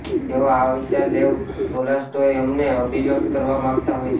તે આ વિચાર લેવ તોલ્સટોય અમને અભિવ્યક્ત કરવા માગતા હોય છે